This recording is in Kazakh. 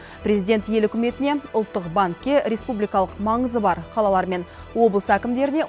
президент ел үкіметіне ұлттық банкке республикалық маңызы бар қалалар мен облыс әкімдеріне